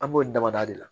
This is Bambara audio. An b'o damada de la